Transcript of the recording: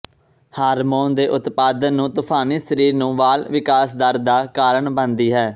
hormone ਦੇ ਉਤਪਾਦਨ ਨੂੰ ਤੂਫਾਨੀ ਸਰੀਰ ਨੂੰ ਵਾਲ ਵਿਕਾਸ ਦਰ ਦਾ ਕਾਰਨ ਬਣਦੀ ਹੈ